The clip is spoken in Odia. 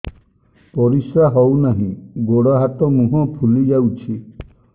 ପରିସ୍ରା ହଉ ନାହିଁ ଗୋଡ଼ ହାତ ମୁହଁ ଫୁଲି ଯାଉଛି